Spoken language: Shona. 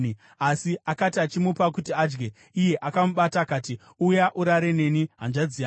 Asi akati achimupa kuti adye, iye akamubata akati, “Uya urare neni, hanzvadzi yangu.”